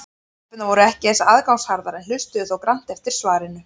Stelpurnar voru ekki eins aðgangsharðar en hlustuðu þó grannt eftir svarinu.